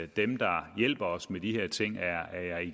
dem der hjælper os med de her ting